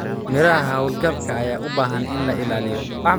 Miraha hawlgabka ayaa u baahan in la ilaaliyo.